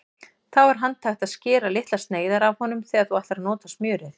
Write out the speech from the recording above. Þá er handhægt að skera litlar sneiðar af honum þegar þú ætlar að nota smjörið.